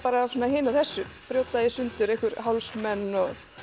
að hinu og þessu brjóta í sundur einhver hálsmen